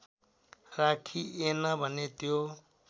राखिएन भने त्यो